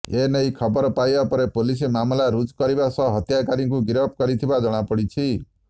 ଏ ନେଇ ଖବର ପାଇବା ପରେ ପୁଲିସ୍ ମାମଲା ରୁଜୁ କରିବା ସହ ହତ୍ୟାକାରୀକୁ ଗିରଫ କରିଥିବା ଜଣାପଡ଼ିଛି